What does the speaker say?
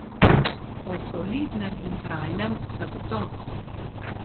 O solidnem in trajnem zagotovo.